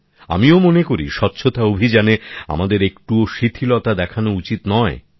আমিও মনে করি স্বচ্ছতা অভিযানে আমাদের একটুও শিথিলতা দেখানো উচিত নয়